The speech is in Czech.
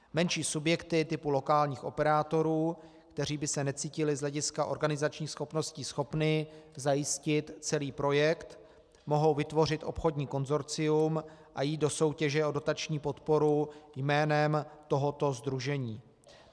Menší subjekty typu lokálních operátorů, které by se necítily z hlediska organizačních schopností schopny zajistit celý projekt, mohou vytvořit obchodní konsorcium a jít do soutěže o dotační podporu jménem tohoto sdružení.